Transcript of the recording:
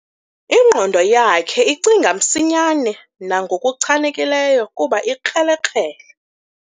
Ingqondo yakhe icinga msinyane nangokuchanekileyo kuba ukrelekrele.